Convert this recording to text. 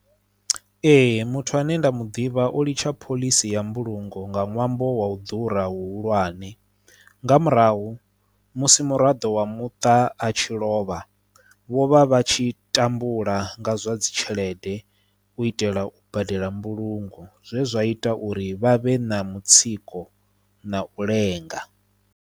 Ee muthu ane nda mu ḓivha o litsha phoḽisi ya mbulungo nga ṅwambo wa u ḓura hu hulwane nga murahu musi muraḓo wa muṱa a tshi lovha vho vha vha tshi tambula nga zwa dzi tshelede u itela u badela mbulungo zwezwa ita uri vha vhe na mutsiko na u lenga.